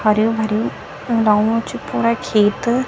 हरयु भरयू लगणू च पूरा खेत।